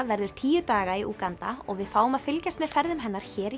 verður tíu daga í Úganda og við fáum að fylgjast með ferðum hennar hér í